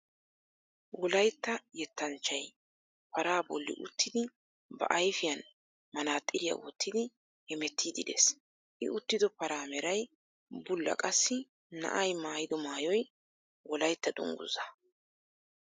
Wollaytta yettanchchay paraa bolli uttidi ba ayfiyaan manaaxiriyaa woottidi heemettidi de'ees. I uttido paraa meray bulla qassi na'ay maayido maayoy wolaytta dunguzzaa.